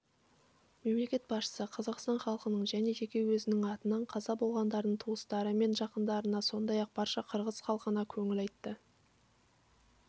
мемлекет басшысы қазақстан халқының және жеке өзінің атынан қаза болғандардың туыстары мен жақындарына сондай-ақ барша қырғыз халқына көңіл айтты